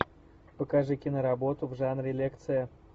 покажи киноработу в жанре лекция